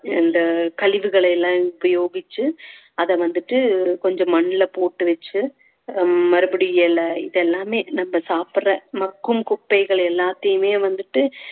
இந்த கழிவுகளை எல்லாம் உபயோகிச்சு அத வந்துட்டு கொஞ்சம் மண்ல போட்டு வெச்சு ஆஹ் மறுபடியும் இலை இது எல்லாமே நம்ம சாப்பிடற மக்கும் குப்பைகள் எல்லாத்தையுமே வந்துட்டு